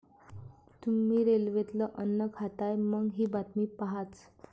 तुम्ही रेल्वेतलं अन्न खाताय, मग ही बातमी पाहाच!